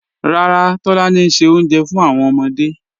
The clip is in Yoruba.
Ràrà, Tolani n ṣẹ ọ̀unjẹ̀ fún awọn ọmọdé